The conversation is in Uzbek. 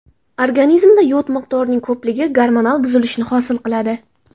Organizmda yod miqdorining ko‘pligi gormonal buzilishni hosil qiladi.